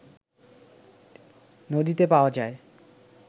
নদীতে পাওয়া যায়